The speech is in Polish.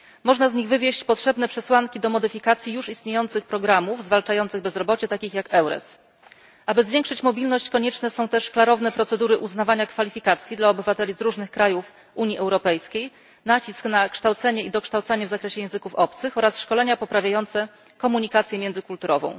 Można z nich wywieść przesłanki potrzebne do modyfikacji już istniejących programów zwalczających bezrobocie, takich jak Eures. Aby zwiększyć mobilność konieczne są też klarowne procedury uznawania kwalifikacji obywateli z różnych państw Unii Europejskiej, nacisk na kształcenie i dokształcanie w zakresie języków obcych oraz szkolenia poprawiające komunikację międzykulturową.